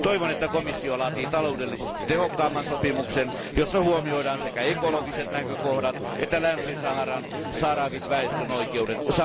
Toivon, että komissio laatii taloudellisesti tehokkaamman sopimuksen, jossa huomioidaan sekä ekologiset näkökohdat että Länsi Saharan sahrawi väestön oikeudet.